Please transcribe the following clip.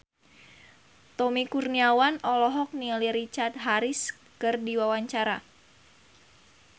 Tommy Kurniawan olohok ningali Richard Harris keur diwawancara